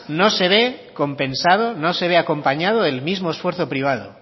no se ve compensado no se ve acompañado del mismo esfuerzo privado